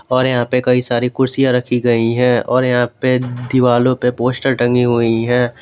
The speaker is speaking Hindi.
और यहां पे कई सारी कुर्सियां रखी गई है और यहां पे दीवालो पे पोस्टर टंगी हुई है।